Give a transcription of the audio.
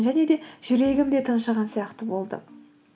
және де жүрегім де тыншыған сияқты болды